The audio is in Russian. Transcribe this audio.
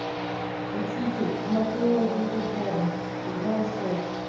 учитель мафиози реборн сезон шесть